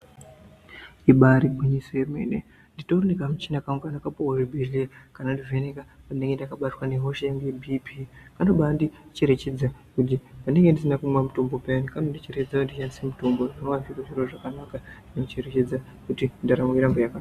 Ibari gwinyiso remene nditori nekamuchina kangu kandakapuwa kuchibhedhlera kanondivheneka pandinenge ndakabatwa nehosha yangu yeBP kanobandicherechedza pandinenge ndisina kumwa mutombo payani kanondicherechedza kuti ndishandise mitombo zvinova zviri zviro zvakanaka.